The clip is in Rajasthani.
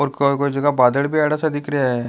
और कोई कोई जगह बादल भी आ रहा सा दिख रहा है।